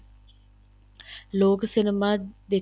ਲੋਕ cinema